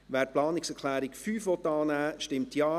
Wer die Planungserklärung 5 annehmen will, stimmt Ja.